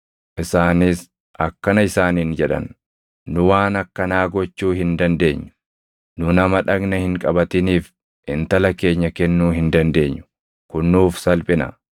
Isaanis akkana isaaniin jedhan; “Nu waan akkanaa gochuu hin dandeenyu; nu nama dhagna hin qabatiniif intala keenya kennuu hin dandeenyu. Kun nuuf salphina.